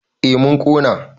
en mun Kona